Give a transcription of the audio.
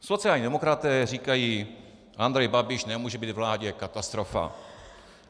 Sociální demokraté říkají: Andrej Babiš nemůže být ve vládě, katastrofa.